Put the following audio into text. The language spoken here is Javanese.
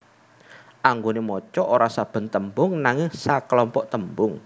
Anggone maca ora saben tembung nanging saklompok tembung